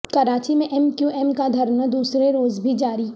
کراچی میں M Q M کا دھرنا دوسرے روز بھی جاری